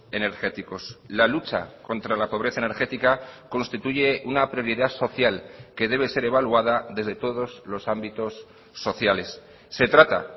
energéticos la lucha contra la pobreza energética constituye una prioridad social que debe ser evaluada desde todos los ámbitos sociales se trata